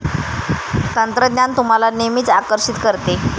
तंत्रज्ञान तुम्हाला नेहमीच आकर्षीत करते.